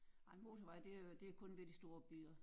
Ej motorvej det er det er kun ved de store byer